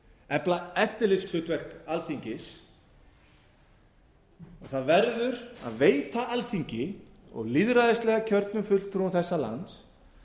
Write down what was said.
efla eftirlitshlutverk alþingis og það verður að veita alþingi og lýðræðislega kjörnum fulltrúum þessa lands